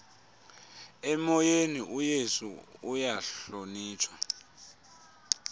emoyeni uyesu uyahlonitshwa